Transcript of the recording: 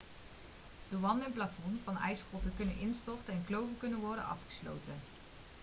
de wanden en plafonds van ijsgrotten kunnen instorten en kloven kunnen worden afgesloten